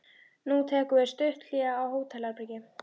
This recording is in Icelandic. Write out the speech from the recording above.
Nú tekur við stutt hlé á hótelherbergi.